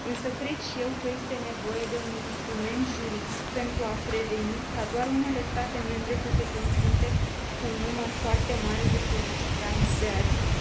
Cred și eu că este nevoie de un instrument juridic pentru a preveni ca doar unele state membre să se confrunte cu un număr foarte mare de solicitanți de azil.